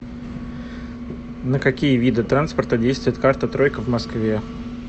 на какие виды транспорта действует карта тройка в москве